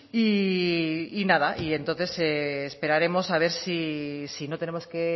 y nada y entonces esperaremos a ver sí no tenemos que